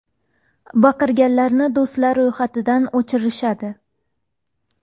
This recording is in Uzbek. Baqirganlarni do‘stlar ro‘yxatidan o‘chirishadi.